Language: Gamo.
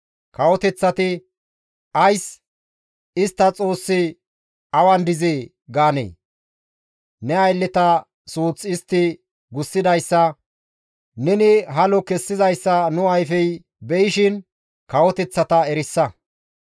Kawoteththati, Ays «Istta Xoossi awan dizee?» gaanee? Ne aylleta suuth istti gussidayssa neni halo kessizayssa nu ayfey be7ishin kawoteththata erisa.